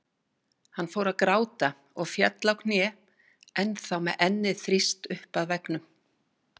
Hann fór að gráta og féll á kné, ennþá með ennið þrýst upp að veggnum.